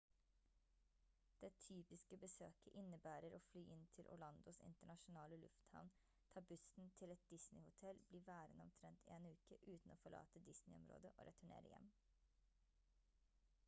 det «typiske» besøket innebærer å fly inn til orlandos internasjonale lufthavn ta bussen til et disney-hotell bli værende omtrent en uke uten å forlate disney-området og returnere hjem